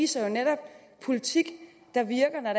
sig netop at være politik der virker når